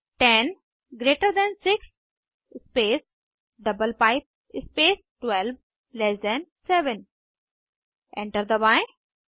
10 greater than 6 space double pipe space 12लैस than 7 enter दबाएं